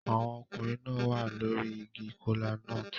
Àwọn ọkùnrin náà wà lórí igi kola-nut